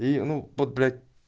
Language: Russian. и ну вот блять